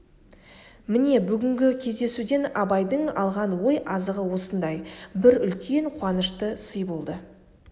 міне бүгінгі кездесуден абайдың алған ой азығы осындай бір үлкен қуанышты сый болды